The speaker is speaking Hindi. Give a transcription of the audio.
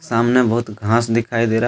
सामने बहुत घांस दिखाई दे रहा।